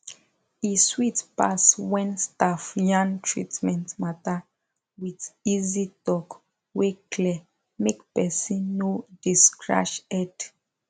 e sweet pass when staff yarn treatment matter with easy talk wey clear make person no dey scratch head